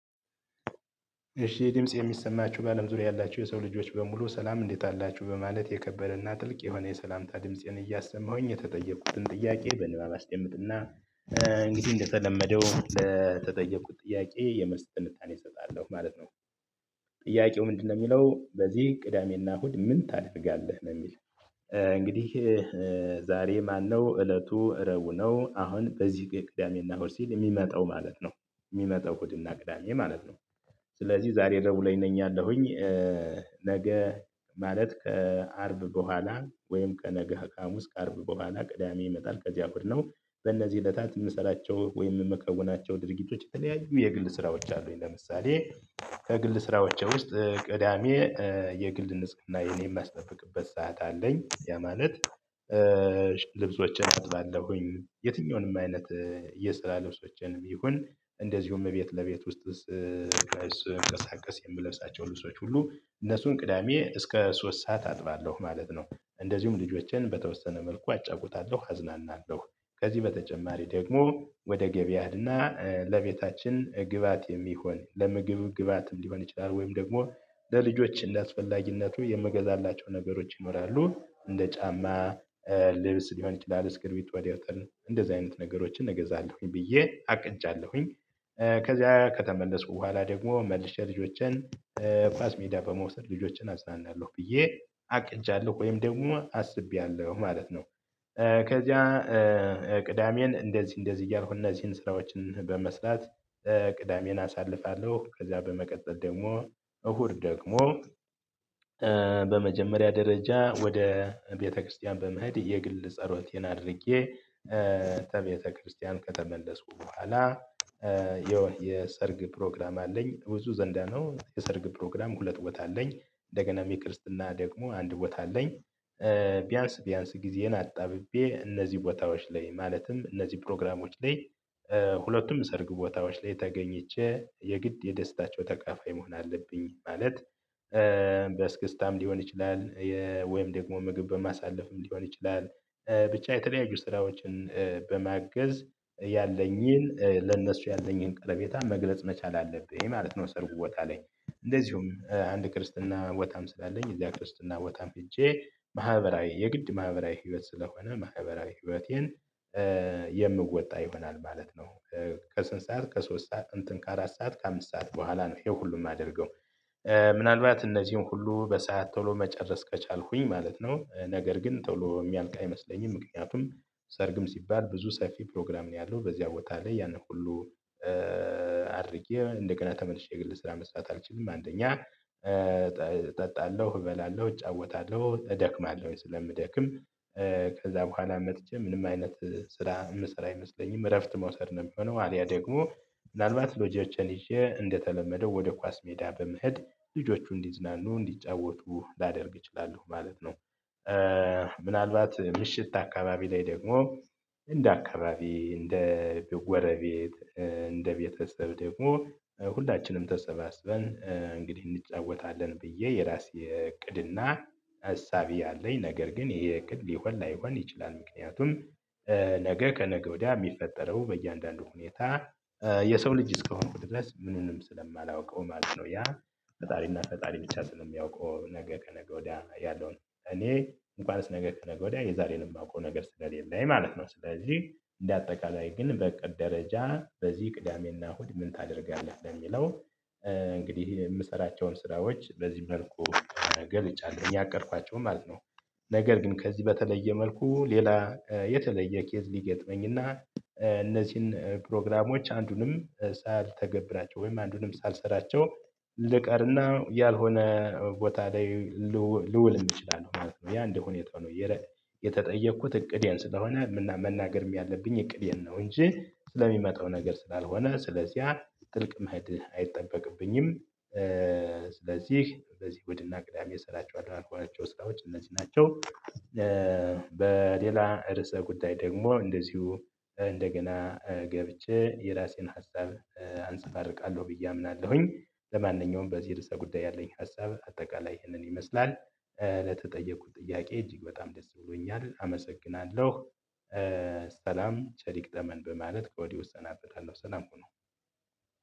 እሺ ይህ ድምጽ የሚሰማችሁ ባለም ዙሪያ ያላችሁ የሰው ልጆች በሙሉ ሰላም እንዴት አላችሁ በማለት የከበረና ጥልቅ የሆነ የሰላምታ ድምፄን እያሰማሁኝ የተጠየቅኩትን ጥያቄ በንባብ አስደምጥና እንግዲህ እንደተለመደው ለተጠየቁት ጥያቄ የመልስ ትንታኔ እሰጣለሁ ማለት ነው። ጥያቄው ምንድነው የሚለው በዚህ ቅዳሜና እሁድ ምን ታደርጋለህ ነው የሚል? እንግዲህ ዛሬ ማነው እለቱ ረቡዕ ነው አሁን በዚህ ቅዳሜና እሁድ ሲል የሚመጣው ማለት ነው የሚመጣው እሁድና ቅዳሜ ማለት ነው። ስለዚህ ዛሬ ረቡዕ ላይ ነኝ አለሁኝ። ነገ ማለት ከአርብ በኋላ ወይም ከነገ ከሐሙስ እስከ አርብ በኋላ ቅዳሜ ይመጣል ከዚያ ቡድኖች በእነዚህ እለታት የምሰራቸው ወይም የምከውናቸው ድርጊቶች የተለያዩ የግል ስራዎች አሉኝ። ለምሳሌ ከግል ስራዎቼ ውስጥ ቅዳሜ የግል ንጽህን የማስጠፍቅበት ሰዓት አለኝ። ያ ማለት ልብሶችን አጥባለሁኝ የትኛውንም አይነት የስራ ልብሶችንም ይሁን እንደዚሁም እቤት ለቤት ውስጥ ስንቀሳቀስ የምለብሳቸው ልብሶች ሁሉ እነሱን ቅዳሜ እስከ ሶስት ሰዓት አጥባለሁ ማለት ነው። እንደዚሁም ልጆቼን በተወሰነ መልኩ አጫውታለሁ አዝናናለሁ። ከዚህ በተጨማሪ ደግሞ ወደ ገበያ ሄድና ለቤታችን ግብአት የሚሆን ለምግብ ግብአት ሊሆን ይችላል ወይም ደግሞ ለልጆች እንደአስፈላጊነቱ የምገዛላቸው ነገሮች ይኖራሉ። እንደ ጫማ ልብስ ሊሆን ይችላል እስክርብቶ ደብተር እንደዚ አይነት ነገሮችን እገዛለሁኝ ብዬ አቅንጃለሁኝ። ከዚያ ከተመለስኩ በኋላ ደግሞ መልሼ ልጆችን ኳስ ሜዳ በመውሰድ ልጆችን አዝናናለሁ ብዬ አቅጃለሁ ወይም ደግሞ አስቤያለሁ ማለት ነው። ከዚያ ቅዳሜን እንደዚህ እንደዚህ እያልኩ እነዚህን ስራዎችን በመስራት ቅዳሜን አሳልፋለሁ። ከዛ በመቀጠል ደግሞ እሁድ ደግሞ በመጀመሪያ ደረጃ ወደ ቤተክርስቲያን በመሄድ የግል ጸሎቴን አድርጌ ከቤተክርስቲያን ከተመለስኩ በኋላ የሰርግ ፕሮግራም አለኝ። ብዙ ዘንዳ ነው የሰርግ ፕሮግራም ሁለት ቦታ አለኝ እንደገናም የክርስትና ደግሞ አንድ ቦታ አለኝ። ቢያንስ ቢያንስ ጊዜን አጣብቤ እነዚህ ቦታዎች ላይ ማለትም እነዚህ ፕሮግራሞች ላይ ሁለቱም ሰርግ ቦታዎች ላይ ተገኝቼ የግድ የደስታቸው ተካፋይ መሆን አለብኝ ማለት። በእስክስታም ሊሆን ይችላል ወይም ደግሞ ምግብ በማሳለፍም ሊሆን ይችላል። ብቻ የተለያዩ ስራዎችን በማገዝ ያለኝን ለነሱ ያለኝን ቀርቤታ መግለጽ መቻል አለብኝ ማለት ነው። ሰርጉ ቦታ ላይ እንደዚሁም አንድ ክርስትና ቦታም ስላለኝ እዚያ ክርስትና ቦታም ሄጄ ማህበራዊ የግድ ማህበራዊ ህይወት ስለሆነ ማህበራዊ ህይወቴን የምወጣ ይሆናል ማለት ነው። ከስንት ሰዓት ከሶስት ሰዓት እንትን ከአራት ሰዓት ከአምስት ሰዓት በኋላ ነው ይሄው ሁሉም የማደርገው ምናልባት እነዚህን ሁሉ በሰአት ቶሎ መጨረስ ከቻልኩኝ ማለት ነው። ነገር ግን ቶሎ የሚያልቅ አይመስለኝም ምክንያቱም ሰርግም ሲባል ብዙ ሰፊ ፕሮግራም ነው። ያለው በዚያ ቦታ ላይ ያንን ሁሉ አድርጌ እንደገና ተመልሼ ግልጽ ስራ መስራት አልችልም። አንደኛ እጠጣለሁ እበላለሁ እጫወታለሁ እደክማለሁ ስለምደክም ከዛ በኋላ መጥቼ ምንም አይነት ስራ የምሰራ አይመስለኝም እረፍት መውሰድ ነው የሚሆነው። ያ ደግሞ ምናልባት ልጆቼን ይዤ እንደተለመደው ወደ ኳስ ሜዳ በመሄድ ልጆቹ እንዲዝናኑ እንዲጫወቱ ላደርግ እችላለሁ ማለት ነው። ምናልባት ምሽት አካባቢ ላይ ደግሞ እንደ አካባቢ እንደ ጎረቤት እንደ ቤተሰብ ደግሞ ሁላችንም ተሰባስበን እንግዲህ እንጫወታለን ብዬ የራሴ እቅድና አሳቢ ያለኝ ነገር ግን ይሄ እቅድ ሊሆን ላይሆን ይችላል። ምክንያቱም ነገ ከነገ ወዲያ የሚፈጠረው በእያንዳንዱ ሁኔታ የሰው ልጅ እስከሆንኩት ድረስ ምንም ስለማላውቀው ማለት ነው። ያ ፈጣሪና ፈጣሪ ብቻ ስለሚያውቀው ነገ ከነገ ወዲያ ያለው እኔ እንኳን ነገ ከነገ ወዲያ የዛሬንም የማውቀው ነገር ስለሌለ ማለት ነው። ስለዚህ እንደ አጠቃላይ ግን በእቅድ ደረጃ በዚህ ቅዳሜና እሁድ ምን ታደርጋለህ ለሚለው? እንግዲህ የምሰራቸውን ስራዎች በዚህ መልኩ ገልጫለሁ ያቀድኳቸውን ማለት ነው። ነገር ግን ከዚህ በተለየ መልኩ ሌላ የተለየ ኬዝ ሊገጥመኝና እነዚህን ፕሮግራሞች አንዱንም ሳልተገብራቸው ወይም አንዱንም ሳልሰራቸው ልቀርና ያልሆነ ቦታ ላይ ልውል እንችላለን ማለት ነው። ያ እንደሁኔታው ነው። የተጠየኩት እቅዴን ስለሆነ መናገርም ያለብኝ እቅዴን ነው እንጂ ስለሚመጣው ነገር ስላልሆነ ስለዚህ ያ ጥልቅ መሄድ አይጠበቅብኝም። ስለዚህ እንደዚህ እሁድ እና ቅዳሜ እሰራቸዋለሁ ያልኳቸው ስራዎች እነዚህ ናቸው። በሌላ ርዕሰ ጉዳይ ደግሞ እንደዚሁ እንደገና ገብቼ የራሴን ሀሳብ አንፀባርቃለሁ ብዬ አምናለሁኝ። ለማንኛውም በዚህ ርዕሰ ጉዳይ ያለኝ ሀሳብ አጠቃላይ ይህንን ይመስላል። ለተጠየቁት ጥያቄ እጅግ በጣም ደስ ብሎኛል አመሰግናለሁ። ሰላም ቸር ይግጠመን በማለት ከወዲሁ እሰናበታለሁ ሰላም ሁኑ።